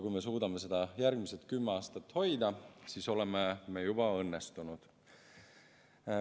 Kui me suudame seda järgmised kümme aastat hoida, siis oleme me juba õnnestunud.